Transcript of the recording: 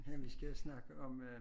Ja vi skal snakke om øh